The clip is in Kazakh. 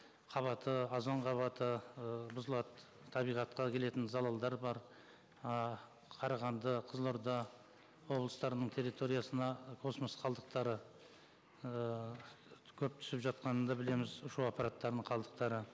қабаты озон қабаты ыыы бұзылады табиғатқа келетін залалдар бар ы қарағанды қызылорда облыстарының территориясына космос қалдықтары ыыы көп түсіп жатқанын да білеміз ұшу аппараттарының қалдықтары